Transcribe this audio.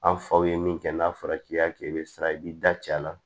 An faw ye min kɛ n'a fɔra k'i y'a kɛ i bɛ sira i b'i da ci a la